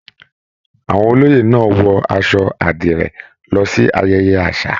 Àwọn olóyè náà wọ aṣọ àdirẹ lọ sí ayẹyẹ àṣà.